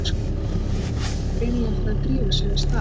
spyr Jón og vill greinilega fara að drífa sig af stað.